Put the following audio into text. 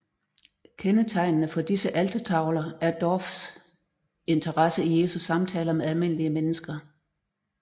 Kendetegnende for disse altertavler er Dorphs interesse i Jesu samtaler med almindelige mennesker